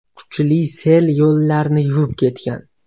Kuchli sel yo‘llarni yuvib ketgan.